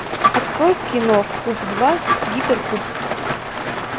открой кино куб два гиперкуб